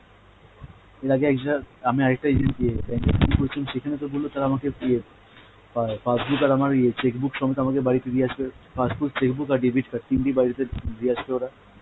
এর আগে আমি আর একটা agent কে, সেখানে তো বলল তারা আমাকে ইয়ে পা~ passbook আর আমার ইয়ে cheque book সমেত আমাকে বাড়িতে দিয়ে আসবে, passbook, cheque book আর debit card তিনটেই বাড়িতে দিয়ে আসবে ওরা।